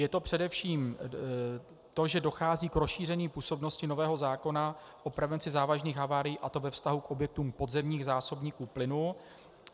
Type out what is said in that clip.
Je to především to, že dochází k rozšíření působnosti nového zákona o prevenci závažných havárií, a to ve vztahu k objektům podzemních zásobníků plynu.